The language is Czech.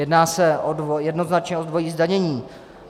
Jedná se jednoznačně o dvojí zdanění.